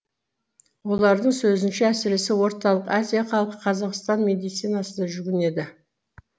олардың сөзінше әсіресе орталық азия халқы қазақстан медицинасына жүгінеді